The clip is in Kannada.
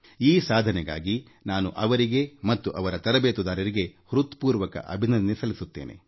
ಈ ಸಾಧನೆಗಾಗಿ ನಾನು ಅವರಿಗೆ ಮತ್ತು ಅವರ ತರಬೇತುದಾರರಿಗೆ ಹೃತ್ಪೂರ್ವಕ ಅಭಿನಂದನೆ ಸಲ್ಲಿಸುತ್ತೇನೆ